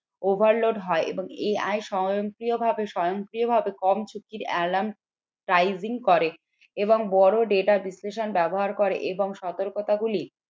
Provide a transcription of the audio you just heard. overload হয় এবং এই স্বয়ংক্রিয়ভাবে স্বয়ংক্রিয়ভাবে কম ঝুঁকির করে এবং বড় data বিশ্লেষণ বা ব্যবহার করে এবং সতর্কতা গুলি